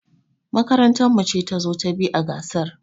Makarantar mu ce tazo ta biyu a gasar.